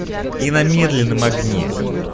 и на медленном огне